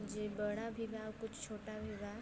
जे बड़ा भी बा कुछ छोटा भी बा।